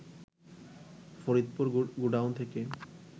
Faridpur godown থেকে